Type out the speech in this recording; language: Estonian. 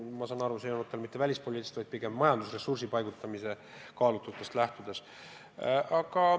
Ma saan aru, et see tulenenud mitte välispoliitilisest kaalutlusest, vaid pigem majandusressursi paigutamise kaalutlusest.